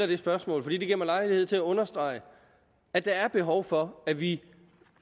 det spørgsmål for det giver mig lejlighed til at understrege at der er behov for at vi